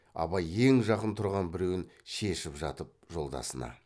абай ең жақын тұрған біреуін шешіп жатып жолдасына